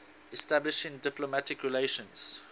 establishing diplomatic relations